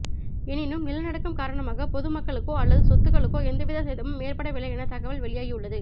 எனினும் நிலநடுக்கம் காரணமாக பொது மக்களுக்கோ அல்லது சொத்துகளுக்கோ எந்தவித சேதமும் ஏற்படவில்லை என தகவல் வெளியாகியுள்ளது